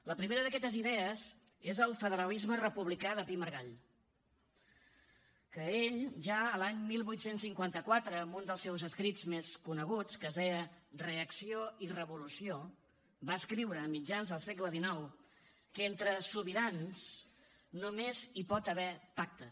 la primera d’aquestes idees és el federalisme republicà de pi i margall que ell ja l’any divuit cinquanta quatre en un dels seus escrits més coneguts que es deia la reacció i la revolució va escriure a mitjans del segle xix que entre sobirans només hi pot haver pactes